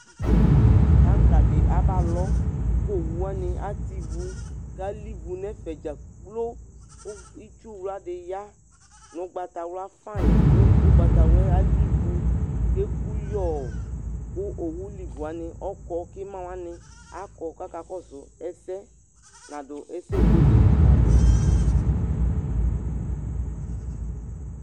Taŋka dɩ abalɔ kʋ owu wanɩ atɛ ivu kʋ alivu nʋ ɛfɛ dza kplo kʋ ʋgb itsuwla dɩ ya nʋ ʋgbatawla fayɩn kʋ ʋgbatawla yɛ alivu kʋ eku yɔɔ kʋ owu livu wanɩ ɔkɔ kʋ ɩma wanɩ akɔ kʋ akakɔsʋ ɛsɛ Nadʋ ɛsɛ buele la adzɔ